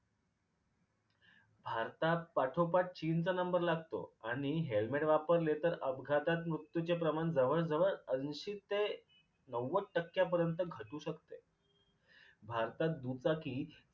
भारतात पाठोपाठ चीनचा नंबर लागतो आनि helmet वापरले तर अपघातात मृत्यूचे प्रमाण जवळ जवळ ऐंशी ते नव्वद टक्क्या पर्यंत घटू शकते. भारतात दुचाकी